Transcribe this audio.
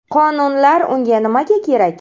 Qonunlar unda nimaga kerak?